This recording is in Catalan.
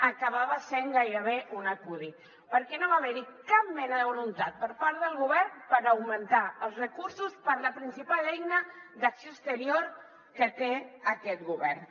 acabava sent gairebé un acudit perquè no va haver hi cap mena de voluntat per part del govern per augmentar els recursos per a la principal eina d’acció exterior que té aquest govern